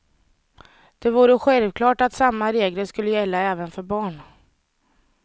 Det vore självklart att samma regler skulle gälla även för barn.